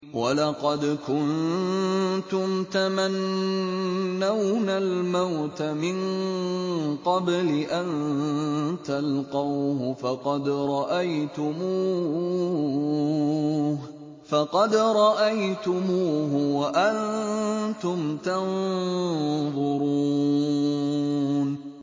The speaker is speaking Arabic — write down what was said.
وَلَقَدْ كُنتُمْ تَمَنَّوْنَ الْمَوْتَ مِن قَبْلِ أَن تَلْقَوْهُ فَقَدْ رَأَيْتُمُوهُ وَأَنتُمْ تَنظُرُونَ